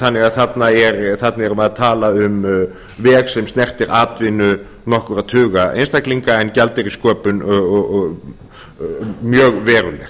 þannig að þarna erum við að tala um veg sem snertir atvinnu nokkurra tuga einstaklinga en gjaldeyrissköpun mjög veruleg